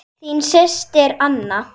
Þín systir, Anna.